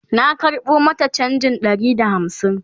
na karɓo mata chanjin Ɗari da hamsin